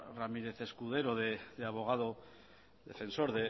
ramírez escudero de abogado defensor